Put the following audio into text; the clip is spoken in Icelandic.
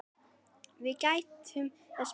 Við gættum þess bæði.